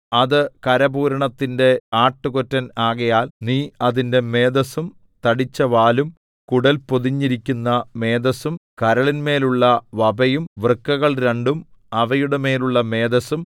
അത് കരപൂരണത്തിന്റെ ആട്ടുകൊറ്റൻ ആകയാൽ നീ അതിന്റെ മേദസ്സും തടിച്ചവാലും കുടൽ പൊതിഞ്ഞിരിക്കുന്ന മേദസ്സും കരളിന്മേലുള്ള വപയും വൃക്കകൾ രണ്ടും അവയുടെ മേലുള്ള മേദസ്സും